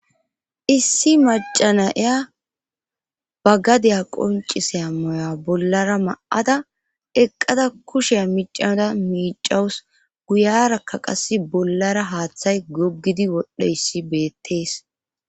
issi macanaya bagadeya qonciseya moya bollara ma7ada eqqada kushe miicanada miicawus guyarakka qase bollara haaththay goggidi wodhiyayis beettees